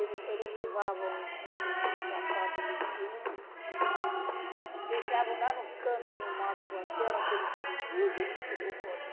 Eles eles levavam um sapato limpinho, deixavam lá no canto de um mato qualquer, aquele todo sujo, e depois o outro.